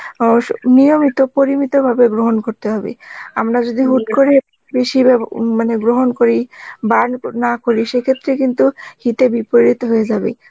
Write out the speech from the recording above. নিয়মিত পরিমিত ভাবে গ্রহণ করতে হবে আমরা যদি মানে গ্রহণ করি না করি সে ক্ষেত্রে কিন্তু, হিতে বিপরীত হয়ে যাবে